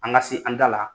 An ka se an da la